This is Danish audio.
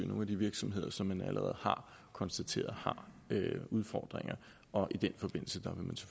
nogle af de virksomheder som man allerede har konstateret har udfordringer og i den forbindelse